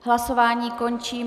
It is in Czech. Hlasování končím.